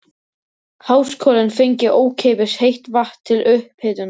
Háskólinn fengi ókeypis heitt vatn til upphitunar.